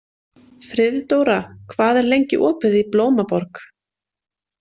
Friðdóra, hvað er lengi opið í Blómaborg?